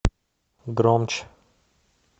громче